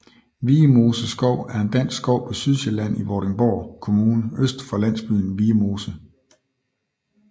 Viemose Skov er en dansk skov på Sydsjælland i Vordingborg Kommune øst for landsbyen Viemose